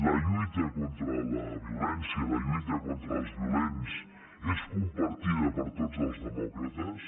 la lluita contra la violència la lluita contra els vio lents és compartida per tots els demòcrates